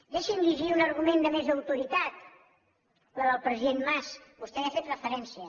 deixi’m llegir un argument de més autoritat la del president mas vostè hi ha fet referència